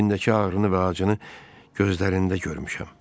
İçindəki ağrını və acını gözlərində görmüşəm.